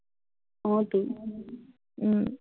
অ তো, উম